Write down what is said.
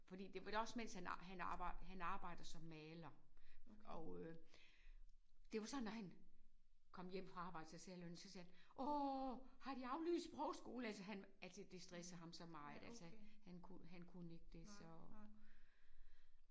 Fordi det var også mens han han arbejd han arbejder som maler og øh det var sådan når han kom hjem fra arbejde så sagde Lonnie så sagde han åh har de aflyst sprogskole altså han altså det stressede ham så meget altså han han kunne han kunne ikke det så